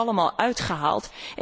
Die zijn er allemaal uitgehaald.